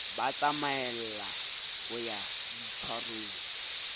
ba tsamaella ho ya boitshwarong